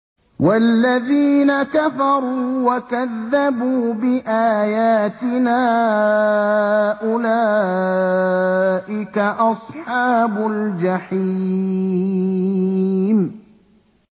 وَالَّذِينَ كَفَرُوا وَكَذَّبُوا بِآيَاتِنَا أُولَٰئِكَ أَصْحَابُ الْجَحِيمِ